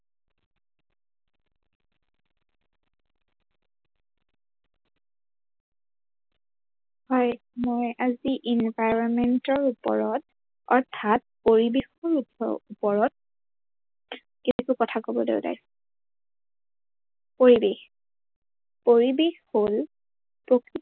হয়, মই আজি environment ৰ ওপৰত অৰ্থাৎ পৰিবেশৰ ওপৰত কেইটামান কথা কবলৈ উলাইছো, পৰিবেশ, পৰিবেশ হল